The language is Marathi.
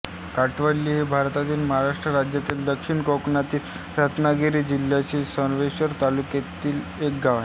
काटवली हे भारतातील महाराष्ट्र राज्यातील दक्षिण कोकणातील रत्नागिरी जिल्ह्यातील संगमेश्वर तालुक्यातील एक गाव आहे